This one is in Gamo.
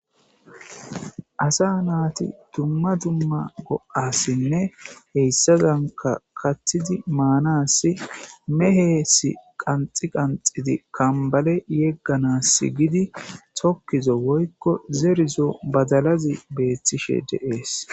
Assa nati duma duma go'asine hayisadani kathidi manasi mehesi qanixidi qanixidi kamibale yeganasi gidi tokizo woyiko zerizo badalazi betishe desiki